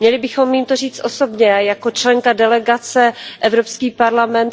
Měli bychom jim to říci osobně a jako členka delegace EU